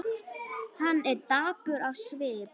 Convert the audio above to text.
Hann er dapur á svip.